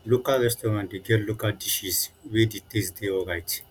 local restaurant de get local dishes wey di taste de alright